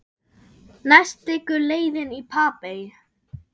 Næst liggur leiðin í Papey.